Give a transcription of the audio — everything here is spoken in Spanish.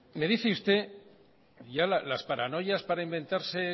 me dice usted ya las paranoias para inventarse